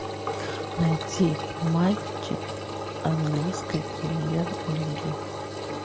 найти матчи английской премьер лиги